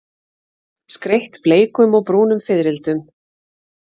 Skreytt bleikum og brúnum fiðrildum.